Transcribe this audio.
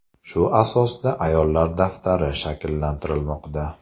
Shu asosda ‘ayollar daftari’ shakllantirilmoqda.